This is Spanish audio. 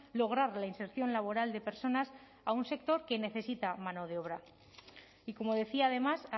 lograr la inserción laboral de personas a un sector que necesita mano de obra y como decía además